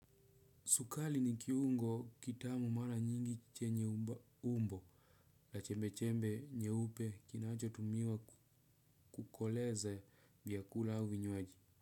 Sukali ni kiungo kitamu mara nyingi chenye umbo la chembe chembe nyeupe kinacho tumiwa kukoleze vyakula au vinywaji.